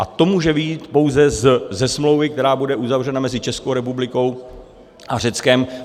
A to může vyjít pouze ze smlouvy, která bude uzavřena mezi Českou republikou a Řeckem.